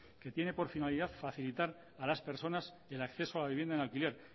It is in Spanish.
que tiene por finalidad facilitar a las personas el acceso a la vivienda en alquiler